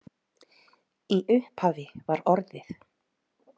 Í upphafi var orðið.